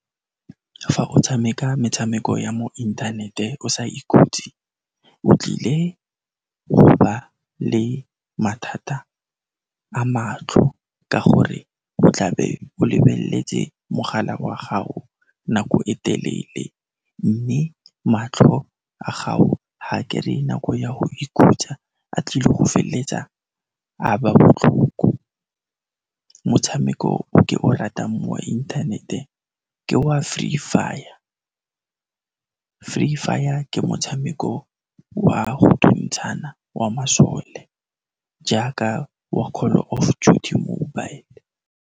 Fa o tshameka metshameko ya mo inthanete o sa ikhutse, o tlile go ba le mathata a matlho ka gore o tla be o lebelletse mogala wa gago nako e telele, mme matlho a gago ga kereye nako ya go ikhutsa, a tlile go felletsa a ba botlhoko. Motshameko o ke o ratang mo inthanete ke wa Free Fire. Free Fire ke motshameko wa go thuntshana wa masole jaaka wa Call of Duty Mobile.